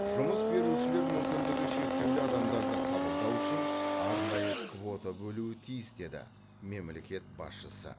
жұмыс берушілер мүмкіндігі шектеулі адамдарды қабылдауы үшін арнайы квота бөлуі тиіс деді мемлекет басшысы